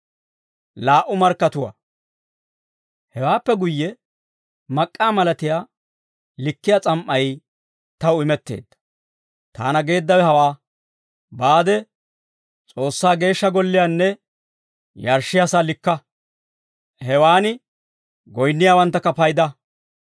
Hewaappe guyye, mak'k'aa malatiyaa likkiyaa s'am"ay taw imetteedda; taana geeddawe hawaa; «Baade S'oossaa Geeshsha Golliyaanne yarshshiyaa sa'aa likka. Hewan goyinniyaawaanttakka payda.